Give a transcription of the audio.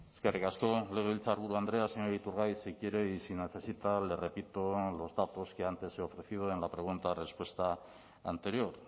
eskerrik asko legebiltzarburu andrea señor iturgaiz si quiere y si necesita le repito los datos que antes he ofrecido en la pregunta respuesta anterior